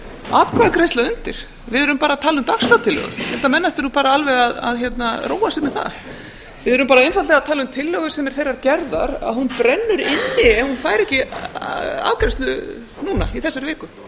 atkvæðagreiðsla undir við erum bara að tala um dagskrártillögu ég held að menn ættu nú bara alveg að róa sig með það við erum bara einfaldlega að tala um tillögu sem er þeirrar gerðar að hún brennur inni ef hún fær ekki afgreiðslu núna í þessari viku